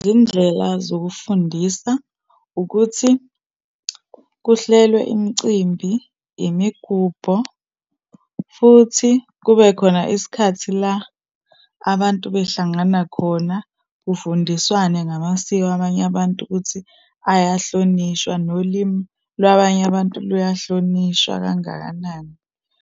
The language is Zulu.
Izindlela zokufundisa, ukuthi kuhlelwe imicimbi, imigubho, futhi kube khona isikhathi la abantu behlangana khona, kufundiswane ngamasiko abanye abantu, ukuthi ayahlonishwa, nolimi lwabanye abantu luyahlonishwa kangakanani.